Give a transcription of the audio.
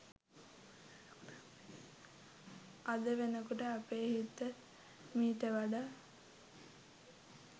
අද වෙනකොට අපේ හිත මීට වඩා